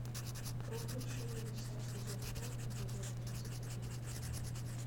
рухнувшие небеса сезон пять эпизод тридцать один